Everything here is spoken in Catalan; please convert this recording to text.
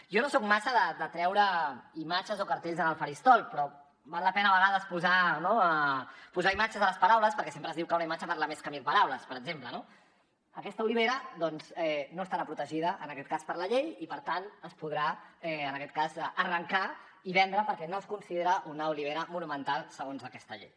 jo no soc massa de traure imatges o cartells en el faristol però val la pena a vegades no posar imatges a les paraules perquè sempre es diu que una imatge parla més que mil paraules per exemple no aquesta olivera doncs no estarà protegida en aquest cas per la llei i per tant es podrà en aquest cas arrencar i vendre perquè no es considera una olivera monumental segons aquesta llei